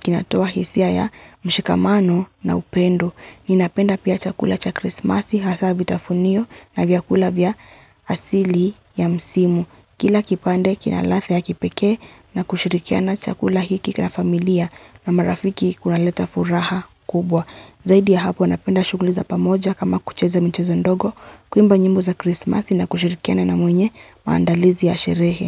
kinatoa hisia ya mshikamano na upendo. Ninapenda pia chakula cha krismasi hasabi tafunio na vyakula vya asili ya msimu. Kila kipande kinalathe ya kipeke na kushirikia na chakula hiki kina familia. Na marafiki kuna leta furaha kubwa. Zaidi ya hapo, napenda shuguliza pamoja kama kucheza mchezo ndogo, kuimba njimbo za Christmas na kushirikiana na mwenye maandalizi ya sherehe.